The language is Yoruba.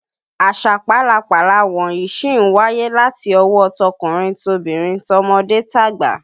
Àṣà pálapàla wọ̀nyí sì ń wáyé láti ọwọ́ tọkùnrin tobìnrin, tọmọdé tàgbà